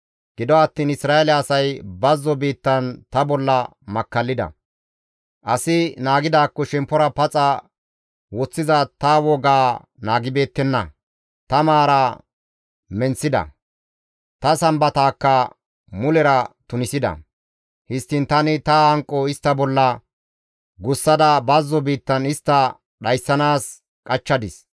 «Gido attiin Isra7eele asay bazzo biittan ta bolla makkallida. Asi naagidaakko shemppora paxa woththiza ta wogaa naagibeettenna; ta maaraa menththida; ta Sambataakka mulera tunisida. Histtiin tani ta hanqo istta bolla gussada bazzo biittan istta dhayssanaas qachchadis.